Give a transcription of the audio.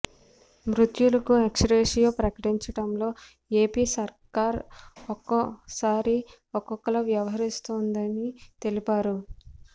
మృతులకు ex gratia ప్రకటించడంలో AP సర్కార్ ఒక్కోసారి ఒక్కోలా వ్యవహరిస్తోందని తెలిపారు